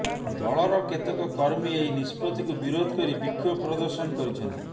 ଦଳର କେତେକ କର୍ମୀ ଏହି ନିଷ୍ପତ୍ତିକୁ ବିରୋଧ କରି ବିକ୍ଷୋଭ ପ୍ରଦର୍ଶନ କରିଛନ୍ତି